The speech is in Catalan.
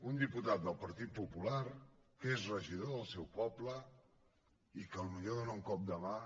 un diputat del partit popular que és regidor del seu poble i que potser dóna un cop de mà